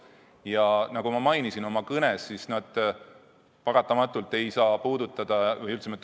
Ja nagu ma mainisin oma kõnes, need paratamatult ei saa jätta meid puudutamata.